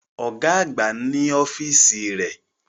Ọ̀gá àgbà ni ọ́fíìsì rẹ̀